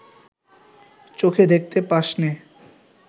চোখে দেখতে পাসনে